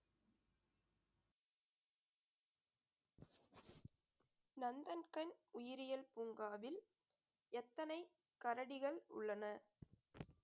நந்தன்கண் உயிரியல் பூங்காவில் எத்தனை கரடிகள் உள்ளன